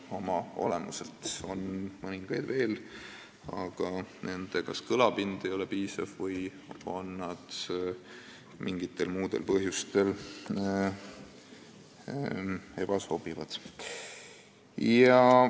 On mõningaid organisatsioone veel, aga kas nende kõlapind ei ole piisav või on nad mingitel muudel põhjustel ebasobivad.